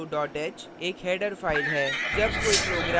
stdio h एक header file header file है